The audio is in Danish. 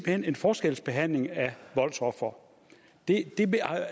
hen en forskelsbehandling af voldsofre og det